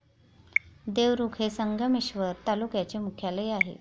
देवरुख हे संगमेश्वर तालुक्याचे मुख्यालय आहे.